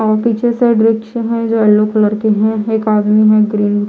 और पीछे साइड वृक्ष हैं। जो येल्लो कलर के हैं। एक आदमी है ग्रीन --